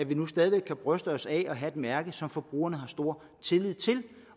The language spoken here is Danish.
vi nu stadig væk kan bryste os af at have et mærke som forbrugerne har stor tillid til